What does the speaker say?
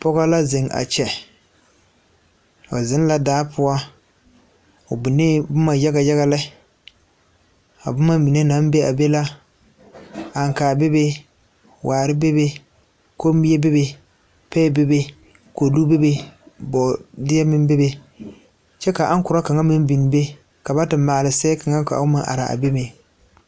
Pɔge la zeŋ a kyɛ, o zeŋ la daa poɔ, o binnee boma yagayaga lɛ, a boma mine naŋ be a be la aŋkaare bebe waare bebe, kommie bebe, paɛ bebe kodu bebe, bɔɔdeɛ meŋ bebe, kyɛ ka aŋkora kaŋa meŋ biŋ be ka ba te maale sɛɛ kaŋa ka o meŋ are a be meŋ.